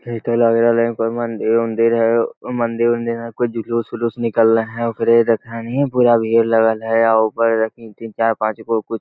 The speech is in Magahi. भीड़ त लगल हाई कोई मंदिर-उंदीर है मंदिर-उंदीर में कोई जुलूस-उलूस निकले है ओकरे देखलने पूरा भीड़ लगल है ऊपर देखहि तीन चार पाँचगो कुछ --